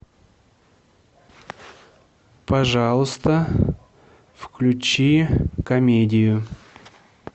пожалуйста включи комедию